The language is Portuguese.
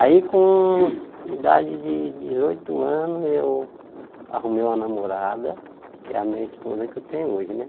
Aí com idade de dezoito anos eu arrumei uma namorada, que é a minha esposa que eu tenho hoje, né?